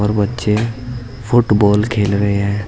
और बच्चे फुटबॉल खेल रहे हैं।